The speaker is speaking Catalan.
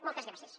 moltes gràcies